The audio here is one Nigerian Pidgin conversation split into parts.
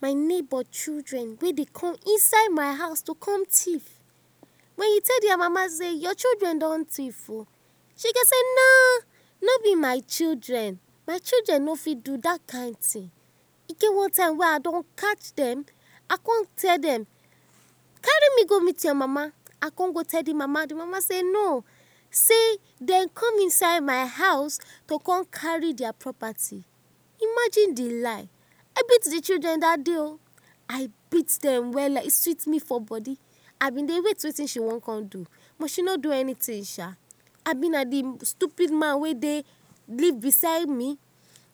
My neighbor children wey dey come inside my house to com thief, wen you tell dia mama sey your children don thief o she go say nooo, no b my children, my children no fit do dat kind thing, e get one time wey I don catch dem, I con tell dem, carry me go meet your mama, I con go tell d mama, d mama sey no, dem com inside my house to come carry dia property, imagine d lie, I beat d children dat day o, I beat dem wella, e sweet me for body, I been dey wait wetin she wan con do, but she no do anything sha, abi na d stupid man wey dey leave beside me,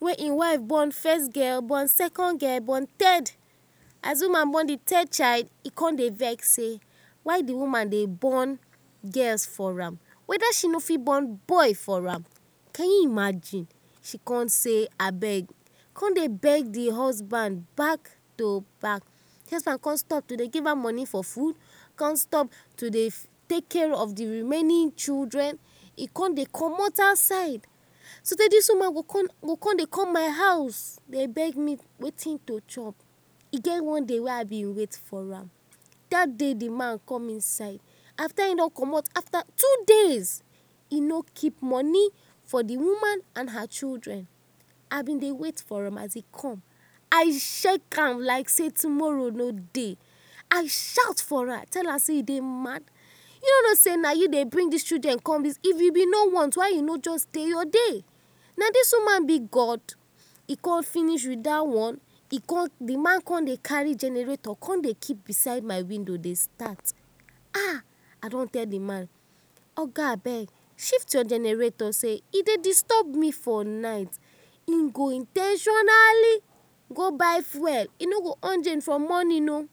wey hin wife born first born girl, second born girl, third, as d woman born d third child, e con dey vext sey why d woman dey born girls for am, weda she no fit born girl for am, can u imagine, she con sey, abeg, con dey beg d husband back to back, d husband con stop to dey give her money for food, con stop to dey take care of d remaining children, e con dey commot outside, so tay dis woman go con dey come my house dey beg me for wetin to chop, e get one day wey I been wait for am, dat day d man come inside, afta he don commota afta two days he no keep money for d woman and her children, I been dey wait for am, as he come, I shout for am like sey tomorrow no dey, I shout for am, I sey u dey mad, u no no sey na u dey bring dis children come, if u no want why u no jus dey your dey, na dis woman b God, e con finish wit dat one, d man con dey carry generator, con dey keep bside my window dey start, I don tell d man ahh, oga abeg shift your generator, e dey disturb me for night, hin go in ten tionally go buy fuel, he no go on gen for morning o,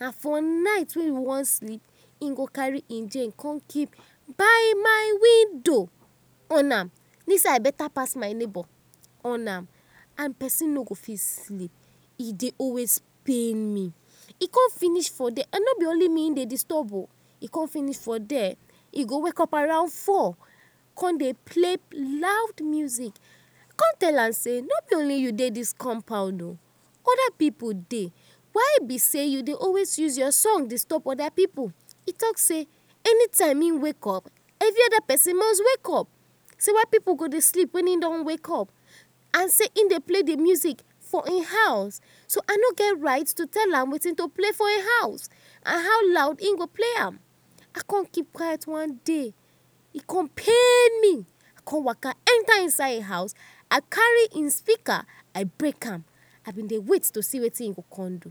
na for night wey e wan sleep he go con carry hin gen keep by my window on am, dis I beta pass my window on am, persin no go fit sleep, e dey pain me, he con finish for there, no b only me he dey disturb o, he con wake up around four con dey play loud music, I con tell am sey no b only you dey dis compound oh, oda pipu dey, why b sey u dey always use your song disturb oda pipu, he talk sey, anytime hin wake up any oda persin must wake up, so why b sey pipu go dey sleep wen hin don wake up, and sey hin don play d music for hin house so I no get right to tell am, wetin to play for hin house and how loud hin go play am, I con keep quiet, one day e con pain me, I con waka enta hin house I carry hin speaker I break am, I been dey wait to see wetin he go con do.